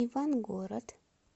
ивангород